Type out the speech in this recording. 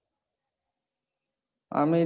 আমি